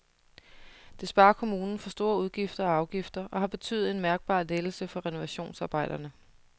Det sparer kommunen for store udgifter og afgifter og har betydet en mærkbar lettelse for renovationsarbejderne.